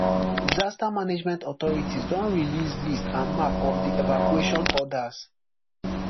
disaster management authorities don release list and map of di evacuation orders